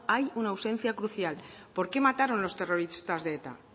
hay una ausencia crucial por qué mataron los terrorista de eta